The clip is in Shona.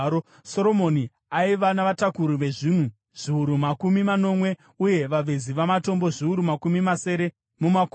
Soromoni aiva navatakuri vezvinhu zviuru makumi manomwe uye vavezi vamatombo zviuru makumi masere mumakomo,